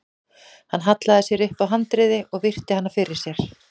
Hann hallaði sér upp að handriði og virti hana fyrir sér.